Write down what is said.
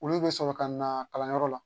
Olu bɛ sɔrɔ ka na kalanyɔrɔ la